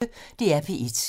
DR P1